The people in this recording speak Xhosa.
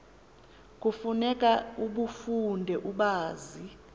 kufuneka ubafunde ubazi